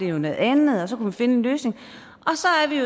jo noget andet og så kunne vi finde en løsning